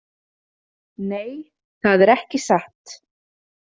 Nei, það er ekki satt.